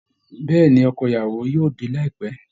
Bẹ́ẹ̀ ni, ọkọ ìyàwó yóò dé láìpẹ́